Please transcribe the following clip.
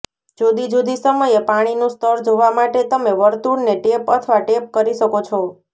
જુદી જુદી સમયે પાણીનું સ્તર જોવા માટે તમે વર્તુળને ટેપ અથવા ટેપ કરી શકો છો